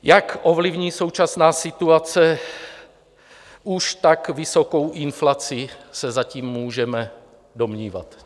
Jak ovlivní současná situace už tak vysokou inflaci, se zatím můžeme domnívat.